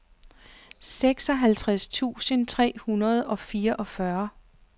seksoghalvtreds tusind tre hundrede og fireogfyrre